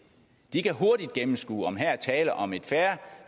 de kan hurtigt gennemskue om der er tale om et fair